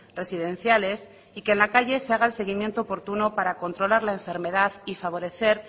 residenciales y que en la calle se haga el seguimiento oportuno para controlar la enfermedad y favorecer